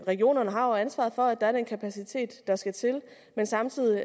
regionerne har jo ansvaret for at der er den kapacitet der skal til men samtidig